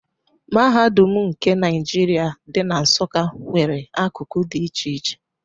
Mahadum nke Naijiria, dị na Nsụka nwere akụkụ dị iche iche.